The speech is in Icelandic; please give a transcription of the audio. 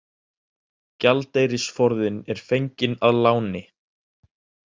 Gjaldeyrisforðinn er fenginn að láni